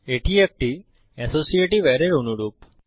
এটি একটি অ্যাসোসিয়েটিভ অ্যারের অনুরূপ